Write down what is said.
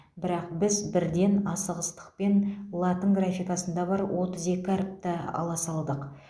бірақ біз бірден асығыстықпен латын графикасында бар отыз екі әріпті ала салдық